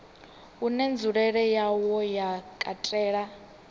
une nzulele yawo ya katela